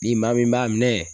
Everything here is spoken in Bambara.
Ni maa min b'a minɛ